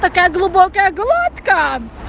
такая глубокая глотка